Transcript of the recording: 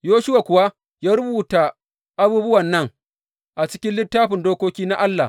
Yoshuwa kuwa ya rubuta abubuwan nan a cikin Littafin Dokoki na Allah.